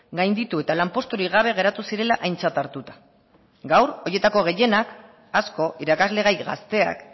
gainditu eta lanposturik gabe geratu zirela aintzat hartuta gaur horietako gehienak asko irakasle gai gazteak